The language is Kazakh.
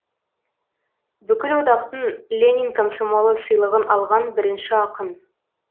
бүкілодақтың ленин комсомолы сыйлығын алған бірінші ақын